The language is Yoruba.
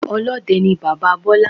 Olóde ni bàbáa Bólá